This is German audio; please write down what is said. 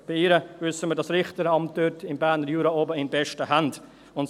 Bei ihr wissen wir das Richteramt dort oben im Berner Jura in besten Händen.